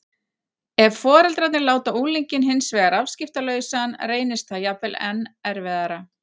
Ef foreldrarnir láta unglinginn hins vegar afskiptalausan reynist það jafnvel enn erfiðara.